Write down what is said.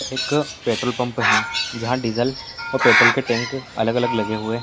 एक पेट्रोलपंप है जहां डीज़ल और पेट्रोल के टैंक अलग-अलग लगे हुए हैं।